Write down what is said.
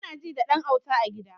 Anaji da ɗan auta a gida